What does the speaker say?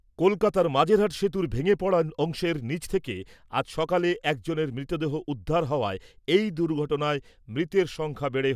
কলকাতার মাঝেরহাট সেতুর ভেঙে পড়া অংশের নিচ থেকে আজ সকালে একজনের মৃতদেহ উদ্ধার হওয়ায়, এই দুর্ঘটনায় মৃতের সংখ্যা বেড়ে